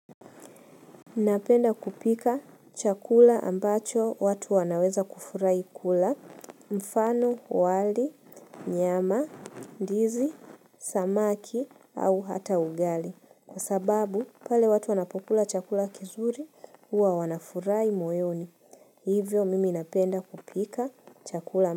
Mi napenda kupika chakula ambacho watu wanaweza kufurahi kula, mfano, wali, nyama, ndizi, samaki, au hata ugali, kwa sababu pale watu wanapokula chakula kizuri huwa wanafurahi moyoni. Ivo mimi napenda kupika chakula ki.